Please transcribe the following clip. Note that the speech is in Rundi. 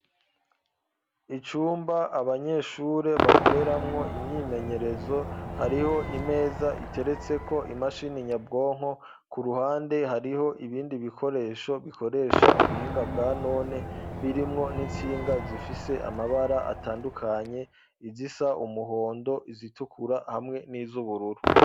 Icumba, abanyeshure bakoreramwo, imyimenyerezo; hariho imeza, iteretseko imashini nyabwonko; ku ruhande, hariho ibindi bikoresho, bikoresha ubuhinga bwa none, birimwo n'intsinga, zifise amabara atandukanye; izisa umuhondo, izitukura, hamwe n'iz'ubururu.